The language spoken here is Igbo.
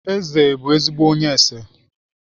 Eze bụ ezigbo onye ese